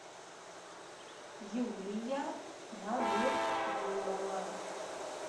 юлия надыргулова